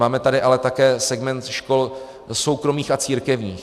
Máme tady ale také segment škol soukromých a církevních.